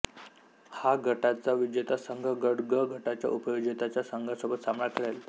ह गटाचा विजेता संघ गट ग गटाच्या उपविजेत्या संघासोबत सामना खेळेल